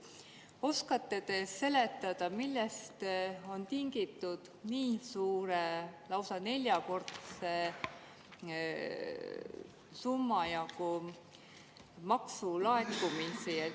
Oskate te seletada, millest on tingitud nii suur, lausa neljakordses summas maksulaekumine?